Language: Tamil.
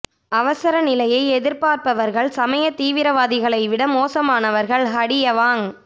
அவசர நிலையை எதிர்ப்பவர்கள் சமய தீவிரவாதிகளைவிட மோசமானவர்கள் ஹடி அவாங்